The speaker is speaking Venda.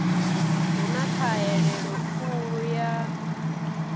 hu na ṱhahelelo khulu ya